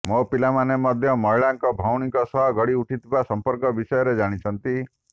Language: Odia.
ମୋ ପିଲାମାନେ ମଧ୍ୟ ମହିଳାଙ୍କ ଭଉଣୀଙ୍କ ସହ ଗଢ଼ି ଉଠିଥିବା ସମ୍ପର୍କ ବିଷୟରେ ଜାଣିଛନ୍ତି